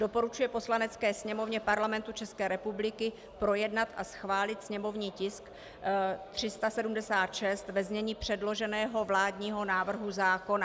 Doporučuje Poslanecké sněmovně Parlamentu České republiky projednat a schválit sněmovní tisk 376 ve znění předloženého vládního návrhu zákona.